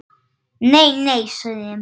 Nei, nei, sagði Emil.